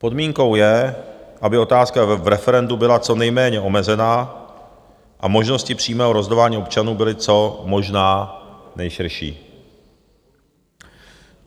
Podmínkou je, aby otázka v referendu byla co nejméně omezená a možnosti přímého rozhodování občanů byly co možná nejširší.